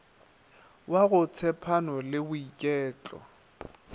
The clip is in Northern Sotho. wa go tshepano le boiketlo